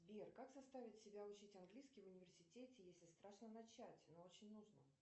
сбер как заставить себя учить английский в университете если страшно начать но очень нужно